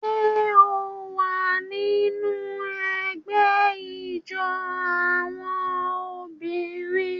Ṣé o wà nínú ẹgbẹ́ ijó àwọn obìnrin?